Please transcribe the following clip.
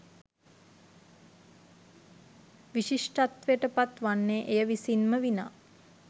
විශිෂ්ටත්වයට පත් වන්නේ එය විසින් ම විනා